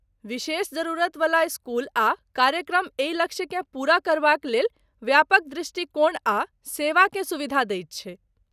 विशेष जरूरतवला स्कूल आ कार्यक्रम एहि लक्ष्यकेँ पूरा करबाक लेल व्यापक दृष्टिकोण आ सेवाकेँ सुविधा दैत छै।